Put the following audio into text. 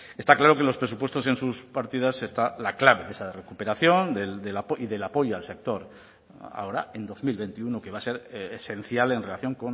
está claro que en los presupuestos en sus partidas está la clave de esa recuperación y del apoyo al sector ahora en dos mil veintiuno que va a ser esencial en relación